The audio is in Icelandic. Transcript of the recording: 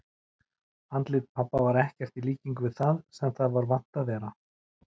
Andlit pabba var ekkert í líkingu við það sem það var vant að vera.